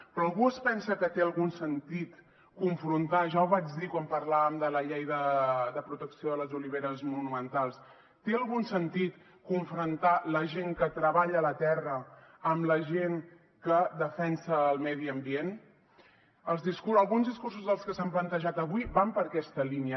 però algú es pensa que té algun sentit confrontar ja ho vaig dir quan parlàvem de la llei de protecció de les oliveres monumentals té algun sentit confrontar la gent que treballa la terra amb la gent que defensa el medi ambient alguns discursos dels que s’han plantejat avui van per aquesta línia